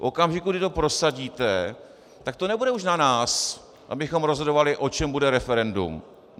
V okamžiku, kdy to prosadíte, tak to nebude už na nás, abychom rozhodovali, o čem bude referendum.